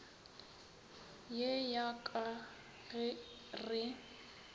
ye ya ka ge re